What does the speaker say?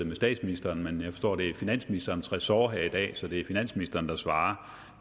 med statsministeren men jeg forstår at det er finansministerens ressort her i dag så det er finansministeren der svarer